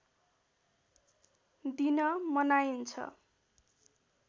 दिन मनाइन्छ